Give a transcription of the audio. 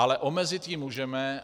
Ale omezit ji můžeme.